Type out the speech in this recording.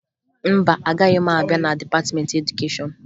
Mba, agaghị m abịa na dịpatịmentị edukeshọn